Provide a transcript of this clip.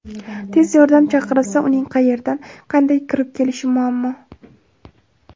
Tez yordam chaqirilsa uning qayerdan, qanday kirib kelishi muammo.